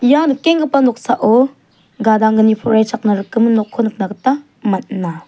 ia nikenggipa noksao gadanggni poraichakna rikgimin nokko nikna gita man·a.